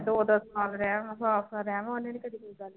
ਦੋ ਦੋ ਸਾਲ ਰਹਿ ਆਉਣਾ, ਸਾਲ ਸਾਲ ਰਹਿ ਆਵਾਂ ਉਹਨੇ ਨੀ ਕਦੇ ਕੋਈ ਗੱਲ